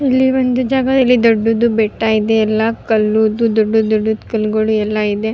ಇಲ್ಲಿ ಒಂದು ಜಗ ಇಲ್ಲಿ ದೊಡ್ಡದು ಬೆಟ್ಟ ಇದೆ ಎಲ್ಲ ಕಲ್ಲು ದೊಡ್ಡ ದೊಡ್ಡ ದ್ ಕಲ್ಲುಗಳು ಎಲ್ಲ ಇದೆ.